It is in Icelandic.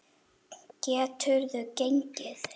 Geturðu gengið?